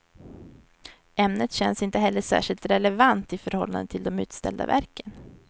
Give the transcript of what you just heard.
Ämnet känns inte heller särskilt relevant i förhållande till de utställda verken.